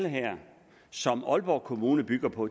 som aalborg kommune bygger på